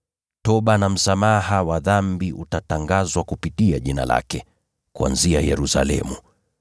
Toba na msamaha wa dhambi zitatangaziwa mataifa yote kupitia jina lake kuanzia Yerusalemu.